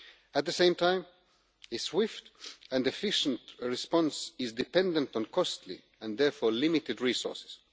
At the same time, a swift and efficient response is dependent on costly, and therefore limited, resources.